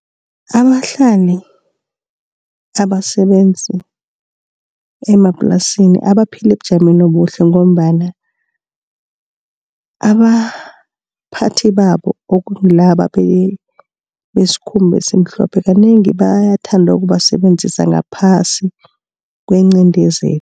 Abahlali, abasebenzi emaplasini abaphila ebujameni obuhle ngombana abaphathi babo okungilaba besikhumba esimhlophe kanengi bayathanda ukubasebenzisa ngaphasi kwenqindezeli.